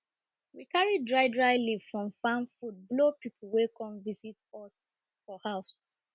we carry dry dry leaf from farm food blow people wey come visit us for house